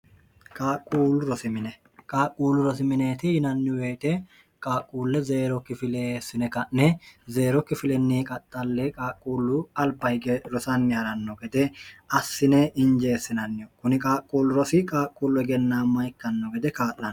qquulluroiin qaaqquullu rosi mineeti yinanni beete qaaqquulle zeero kifilessine ka'ne zeerokkifilinni qaxxalle qaaqquullu alba hige rosanni ha'ranno gede assine injeessinanniho kuni qaaqquullu rosi qaaqquullu hegennaamma ikkanno gede kaa'lno